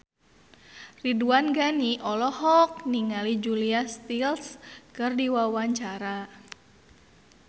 Ridwan Ghani olohok ningali Julia Stiles keur diwawancara